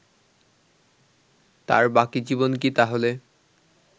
তার বাকি জীবন কি তাহলে